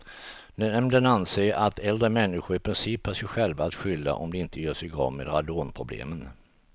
Nämnden anser att äldre människor i princip har sig själva att skylla om de inte gör sig av med radonproblemen.